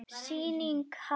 Sýnin hvarf.